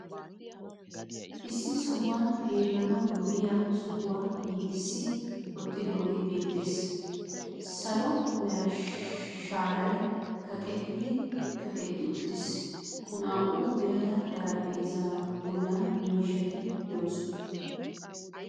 Issi sohuwan xeellanawu lo'iya sohuwa giigissi woottidoogee beettees. Salo mera sharay kaqetti kaqetti uttiis. Naa"u birata xarphpheezaa bollan miishshaati beettoosona.